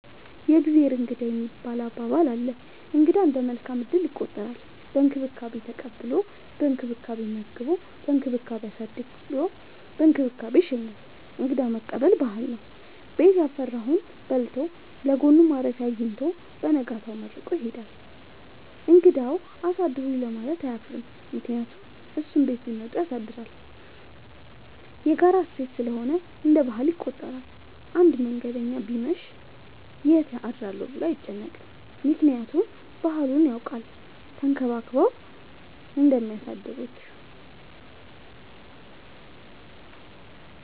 የእግዜር እንግዳ የሚባል አባባል አለ። እንግዳ እንደ መልካም እድል ይቆጠራል። በእንክብካቤ ተቀብሎ በእንክብካቤ መግቦ በእንክብካቤ አሳድሮ በእንክብካቤ ይሸኛል። እንግዳ መቀበል ባህል ነው። ቤት ያፈራውን በልቶ ለጎኑ ማረፊያ አጊኝቶ በነጋታው መርቆ ይሄዳል። እንግዳውም አሳድሩኝ ለማለት አያፍርም ምክንያቱም እሱም ቤት ቢመጡ ያሳድራል። የጋራ እሴት ስለሆነ እንደ ባህል ይቆጠራል። አንድ መንገደኛ ቢመሽ ይት አድራለሁ ብሎ አይጨነቅም። ምክንያቱም ባህሉን ያውቃል ተንከባክበው እንደሚያሳድሩት።